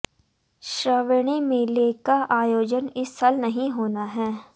श्रावणी मेले का आयोजन इस साल नहीं होना है